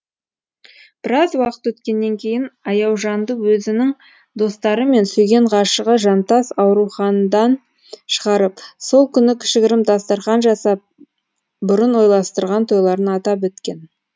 біраз уақыт өткеннен кейін аяужанды өзінің достары мен сүйген ғашығы жантас аурухандан шығарып сол күні кішігірім дастархан жасап бұрын ойластырған тойларын атап өткен